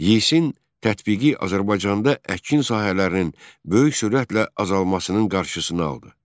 Yisin tətbiqi Azərbaycanda əkin sahələrinin böyük sürətlə azalmasının qarşısını aldı.